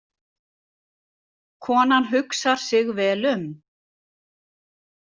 Konan hugsar sig vel um.